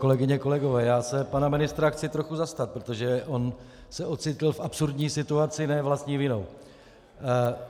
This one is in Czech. Kolegyně, kolegové, já se pana ministra chci trochu zastat, protože on se ocitl v absurdní situaci ne vlastní vinou.